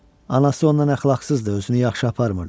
Anası ondan əxlaqsızdı, özünü yaxşı aparmırdı.